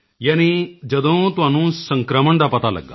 ਯਾਨੀ ਜਦੋਂ ਤੁਹਾਨੂੰ ਸੰਕ੍ਰਮਣ ਦਾ ਪਤਾ ਲੱਗਿਆ